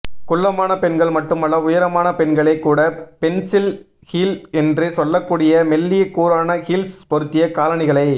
குள்ளமான பெண்கள் மட்டுமல்ல உயரமான பெண்களே கூட பென்ஸில் ஹீல் என்று சொல்லக்கூடிய மெல்லிய கூரான ஹீல்ஸ் பொருத்திய காலணிகளை